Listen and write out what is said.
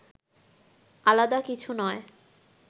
আলাদা কিছু নয়